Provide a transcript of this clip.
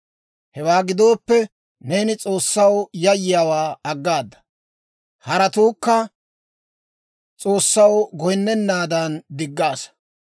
Hewaa gidooppe, neeni S'oossaw yayyiyaawaa aggaada; haratuukka S'oossaw goyinnennaadan diggaassa.